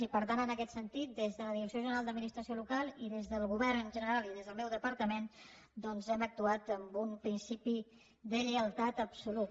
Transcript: i per tant en aquest sentit des de la direcció general d’administració local i des del govern en general i des del meu departament hem actuat amb un principi de lleialtat absoluta